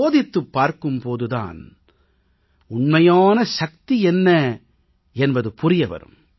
சோதித்துப் பார்க்கும் போது தான் உண்மையான சக்தி என்ன என்பது புரிய வரும்